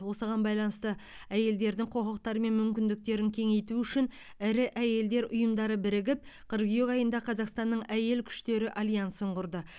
осыған байланысты әйелдердің құқықтары мен мүмкіндіктерін кеңейту үшін ірі әйелдер ұйымдары бірігіп қыркүйек айында қазақстанның әйел күштері альянсын құрды